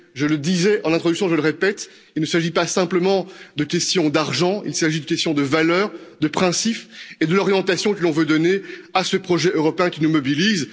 Je le disais en introduction, et je le répète, il ne s'agit pas simplement de question d'argent, il s'agit de questions de valeurs, de principes et de l'orientation que l'on veut donner à ce projet européen qui nous mobilise.